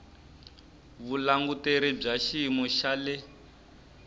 vulanguteri bya xiyimo xa le